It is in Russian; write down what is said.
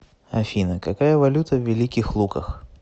афина какая валюта в великих луках